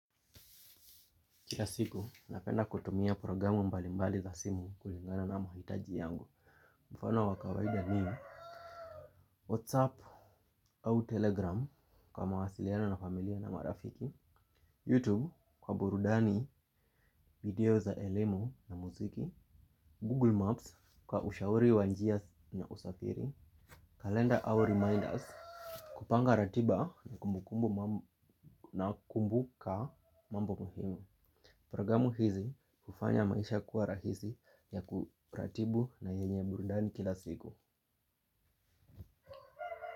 Kila siku, napenda kutumia programu mbalimbali za simu kulingana na mahitaji yangu. Mfano wa kawaida ni whatsapu au telegramu kwa mawasiliano na familia na marafiki Yutubu kwa burudani, video za elemu na muziki Google Maps, kwa ushauri wa njia na usafiri. Calendar au reminders kupanga ratiba na kumbukumbu na kukumbuka mambo muhimu. Programu hizi hufanya maisha kuwa rahisi ya kuratibu na yenye burudani kila siku.